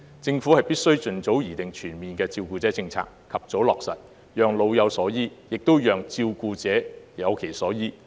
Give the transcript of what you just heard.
政府必須盡早擬定全面的照顧者政策，及早落實，讓老有所依，也讓照顧者有其所依。